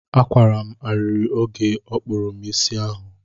Akwara ariri oge ọ kpụrụ m isi ahụ.